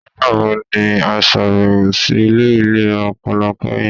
Nigbawo ni a ṣabẹwo si ile ilera ọpọlọ kẹhin?